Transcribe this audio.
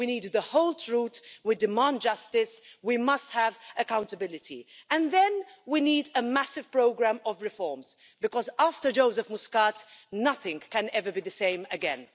We need the whole truth, we demand justice, we must have accountability, and then we need a massive programme of reforms because, after Joseph Muscat, nothing can ever be the same again.